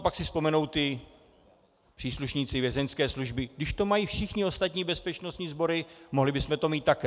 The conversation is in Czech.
A pak si vzpomenou ti příslušníci Vězeňské služby - když to mají všechny ostatní bezpečnostní sbory, mohli bychom to mít také.